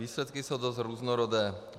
Výsledky jsou dost různorodé.